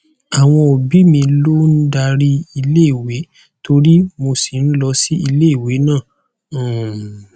àwọn òbí mi ló ń darí iléèwé torie mo sì lọ sí iléèwé náà um